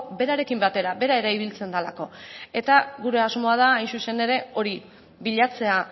berarekin batera bera ere ibiltzen delako eta gure asmoa da hain zuzen ere hori bilatzea